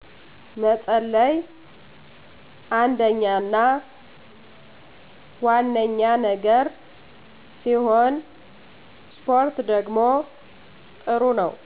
መፀለይ አንደኛና ዋነኛ ነገር ሲሆን እስፖርት ደግሞ ጥሩ ነው